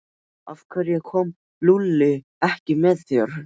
Af hverju kom Lúlli ekki með þér?